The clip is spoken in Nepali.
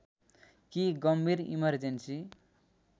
कि गम्भीर इमर्जेन्‍सी